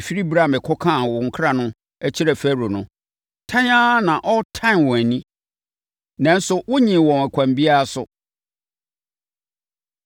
Ɛfiri ɛberɛ a mekɔkaa wo nkra no kyerɛɛ Farao no, tan ara na ɔretan wɔn ani, nanso wonnyee wɔn ɛkwan biara so!”